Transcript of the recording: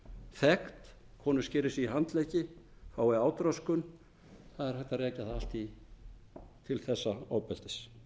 þekkt konur skeri sig í handleggi fái átröskun það er hægt er að rekja það allt til þessa ofbeldis